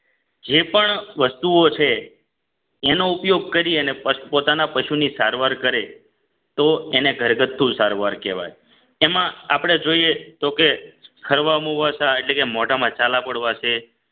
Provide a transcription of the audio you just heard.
જે પણ વસ્તુઓ છે એનો ઉપયોગ કરી અને પોતાના પશુની સારવાર કરે તો એને ઘરગથ્થુ સારવાર કહેવાય એમાં આપણે જોઈએ તો કે ખરવામુવાસા એટલે કે મોઢામાં ઝાલા પડવા છે